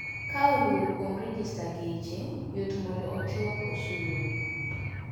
Kaoluo kuom rejesta geche ,yot mondo ochok osuru